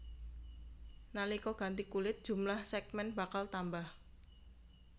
Nalika ganti kulit jumlah sègmèn bakal tambah